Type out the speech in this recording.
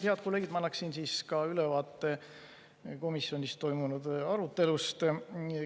Head kolleegid, ma annan ka ülevaate komisjonis toimunud arutelust.